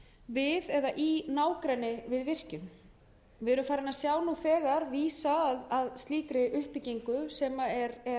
við eða í nágrenni við virkjun við erum farin að sjá nú þegar vísa að slíkri uppbyggingu sem er